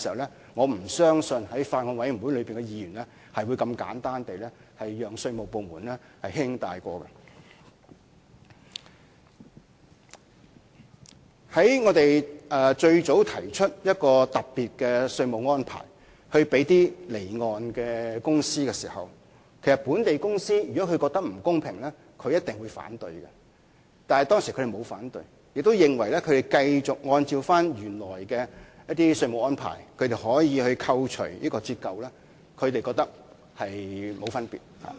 在我們最初提出為從事離岸飛機租賃活動的公司而設的特別稅務安排時，如從事境內飛機租賃活動的公司覺得不公平，一定會提出反對，但當時它們沒有反對，亦認為繼續按照原來的稅務安排，可以扣除折舊免稅額，並沒有分別。